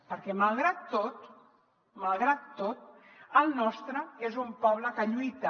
perquè malgrat tot malgrat tot el nostre és un poble que lluita